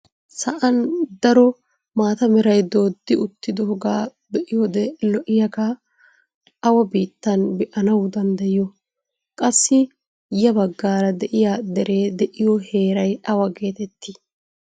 Sa'aan daro maata meray dooddi uttidoogaa be'iyoode lo'iyagaa awaa biittan be'anawu danddyiyoo? Qassi ya baggaara de'iyaa deree de'iyoo heeray awa getettii?